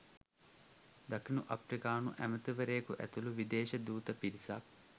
දකුණු අප්‍රිකාණු ඇමැතිවරයකු ඇතුළු විදේශ දූත පිරිසක්